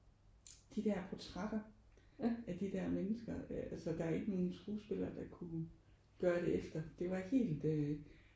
De der portrætter af de der mennesker altså der er ikke nogen skuespiller der er kunne gøre det efter. Det var helt øh